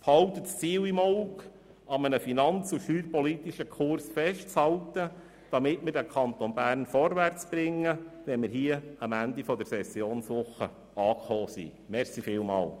Behalten Sie das Ziel im Auge, an einem finanz- und steuerpolitischen Kurs festzuhalten, damit wir den Kanton Bern vorwärtsgebracht haben, wenn wir am Ende der Sessionswoche angekommen sind.